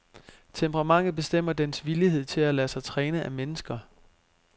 Temperamentet bestemmer dens villighed til at lade sig træne af mennesker.